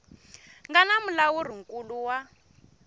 nga na mulawuri nkulu wa